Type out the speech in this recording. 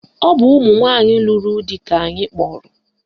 Ọ bụ ụmụnwanyị lụrụ di ka anyị kpọrọ